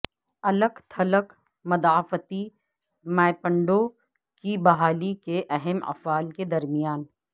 الگ تھلگ مدافعتی مائپنڈوں کی بحالی کے اہم افعال کے درمیان